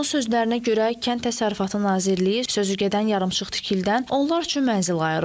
Onun sözlərinə görə, Kənd Təsərrüfatı Nazirliyi sözügedən yarımçıq tikilidən onlar üçün mənzil ayırıb.